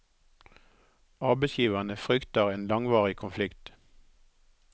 Arbeidsgiverne frykter en langvarig konflikt.